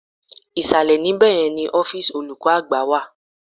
Ìsàlẹ̀ ní bẹ̀yẹn ni ọ́fíìsì olùkọ́ àgbà wà.